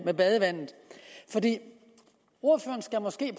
badevandet ordføreren skal måske